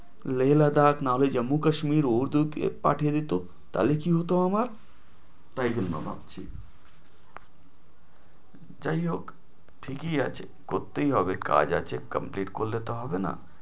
লে লাদাখ নাহলে জম্মু কাশ্মীর পাঠিয়ে দিত তালে কি হতো আমার, যাই হোক ঠিকই আছে। করতেই হবে কাজ আছে complete করলে তো হবে না।